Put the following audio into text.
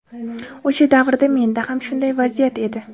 O‘sha davrda menda ham shunday vaziyat edi.